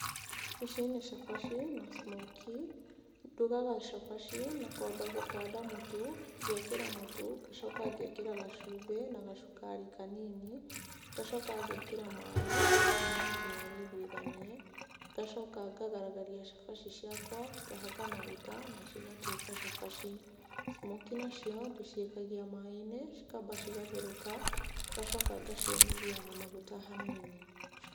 Ici nĩ cabaci, na smokie. Ndugaga cabaci na kwamba gũkanda mũtu, ngekĩra mũtu, ngacoka ngekĩra gacumbi na gacukari kanini, ngacoka ngekĩra maaĩ ngakima nginya wiguithanie, ngacoka ngagaragaria cabaci ciakwa, ngahaka maguta, na cigatuĩka cabaci. smokie nacio ndĩcikagia maaĩ-inĩ, cikamba cigatherũka, ngacoka ngaciũmĩthia na maguta hanini.